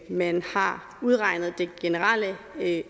man har udregnet det generelle